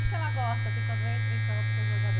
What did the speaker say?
O que que ela gosta, assim, quando entra em campo com o jogador?